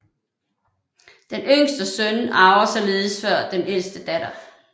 Den yngste søn arver således før den ældste datter